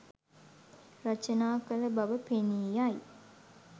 රචනා කළ බව පෙනී යයි.